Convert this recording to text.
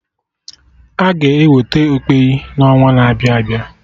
Aga eweta okpeyi n'ọnwa na-abịa abịa